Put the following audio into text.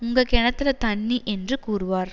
உங்க கிணத்துல தண்ணி என்று கூறுவார்